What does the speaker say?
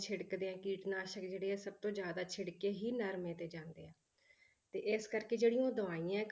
ਛਿੜਕਦੇ ਹੈ ਕੀਟਨਾਸ਼ਕ ਜਿਹੜੇ ਆ ਸਭ ਤੋਂ ਜ਼ਿਆਦਾ ਛਿੜਕੇ ਹੀ ਨਰਮੇ ਤੇ ਜਾਂਦੇ ਹੈ, ਤੇ ਇਸ ਕਰਕੇ ਜਿਹੜੀਆਂ ਦਵਾਈਆਂ ਹੈ